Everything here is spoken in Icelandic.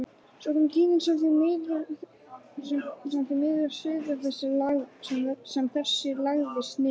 Svo kom tíðin sem því miður siður þessi lagðist niður.